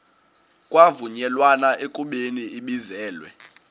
kwavunyelwana ekubeni ibizelwe